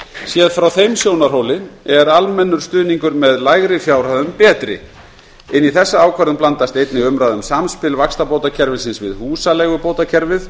séð frá þeim sjónarhóli er almennur stuðningur með lægri fjárhæðum betri inn í þessa ákvörðun blandast einnig umræða um samspil vaxtabótakerfisins við húsaleigubótakerfið